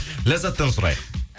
ләззаттан сұрайық